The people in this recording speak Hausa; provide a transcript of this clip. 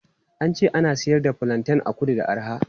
An ce ana siyar da fulanten a kudu da arha.